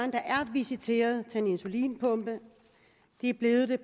visiteret til en insulinpumpe er blevet det